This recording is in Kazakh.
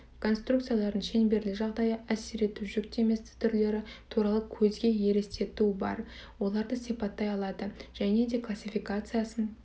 конструкциялардың шеңберлі жағдайы әсер ету жүктемесі түрлері туралы көзге елестетуі бар оларды сипаттай алады және де классификациясын